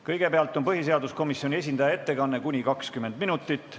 Kõigepealt on põhiseaduskomisjoni esindaja ettekanne kuni 20 minutit.